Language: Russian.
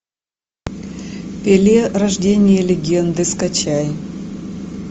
пеле рождение легенды скачай